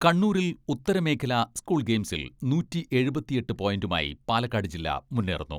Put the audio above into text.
കണ്ണൂരിൽ ഉത്തര മേഖലാ സ്കൂൾ ഗെയിംസിൽ നൂറ്റി എഴുപത്തിയെട്ട് പോയിന്റുമായി പാലക്കാട് ജില്ല മുന്നേറുന്നു.